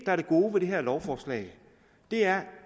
er det gode ved det her lovforslag er